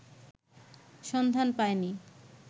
সন্ধান পায়নি